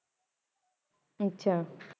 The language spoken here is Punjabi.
ਆਹ